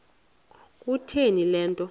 kutheni le nto